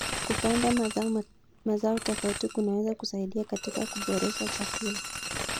Kupanda mazao tofauti kunaweza kusaidia katika kuboresha chakula.